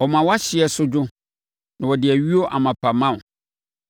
Ɔma wʼahyeɛ so dwo na ɔde ayuo amapa ma wo.